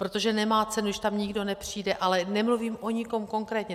Protože nemá cenu, když tam nikdo nepřijde, ale nemluvím o nikom konkrétně.